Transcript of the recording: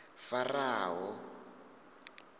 faraho